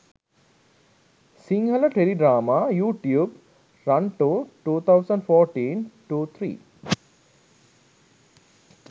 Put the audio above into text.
sinhala teledrama youtube rantau 2014 02 03